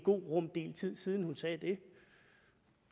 rum tid siden hun sagde det